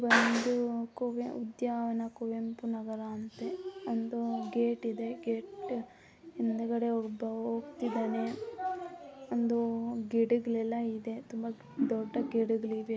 ಇದೊಂದು ಉದ್ಯಾನವನ ಕುವೆಂಪು ನಗರ ಅಂತೆ ಒಂದು ಗೇಟ್ ಇದೆ ಗೇಟ್ ಹಿಂದ್ಗಡೆ ಒಬ್ಬ ಹೋಗ್ತಿದ್ದಾನೆ ಒಂದು ಗಿಡಗಳೆಲ್ಲ ಇದೆ ತುಂಬಾ ದೊಡ್ಡ ಗಿಡಗಳು ಇವೆ .